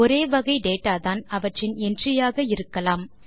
ஒரே வகை டேட்டா தான் அவற்றின் என்ட்ரி ஆக இருக்கலாம்